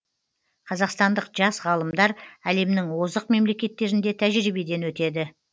қазақстандық жас ғалымдар әлемнің озық мемлекеттерінде тәжірибеден өтеді